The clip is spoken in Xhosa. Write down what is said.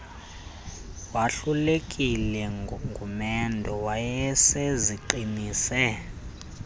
wahlulekile ngumendo wayeseziqinise